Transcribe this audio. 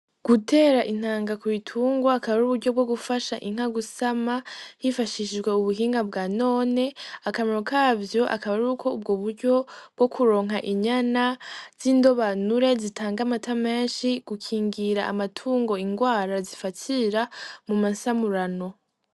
Gutera intanga ku bitunga akaba ari uburyo bwo gufasha inkagusama hifashishijwe ubuhinga bwa none akamaro kavyo akaba ari uko ubwo buryo bwo kuronka inyana z'indobanure zitanga amatamenshi gukingira amatungo ingwara zifatsira mu masamurano.